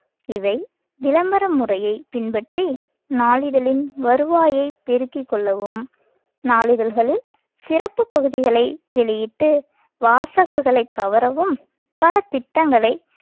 இவை விளம்பர முறையை பின்பற்றி நாளிதழின் வருவாயைப் பெருக்கிக் கொள்ளவும் நாளிதழ்களில் சிறப்புப் பகுதிகளை வெளியிட்டு வாசகர்களை கவரவும் பல திட்டங்களை